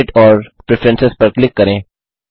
edit और preference पर click करें